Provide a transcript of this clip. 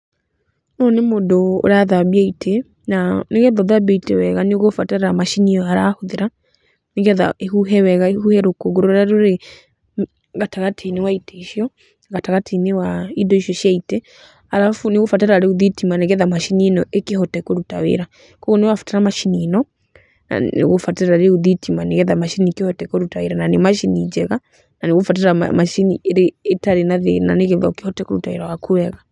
Ũyũ nĩ mũndũ ũrathambia itĩ, na nĩ getha ũthambie itĩ wega nĩ ũgũbatara macini ĩyo arahũthĩra, nĩ getha ĩhuhe rũkũngũ rũrĩa rwĩ gatagatĩ-inĩ, wa itĩ icio, gatagatĩ-inĩ wa indo icio cia itĩ, arabu nĩ ũgũbatara rĩu thitima nĩ getha macini ĩno ĩkĩhote kũruta wĩra. Kuũguo nĩ ũrabata macini ino, na nĩ ũgũbatara rĩu thitima ni geteha macini ĩkĩhote kũruta wĩra na nĩ macini njega, na nĩ ũgũbatara macini ĩtarĩ na thĩna nĩ getha ũkĩhote wĩra waku wega.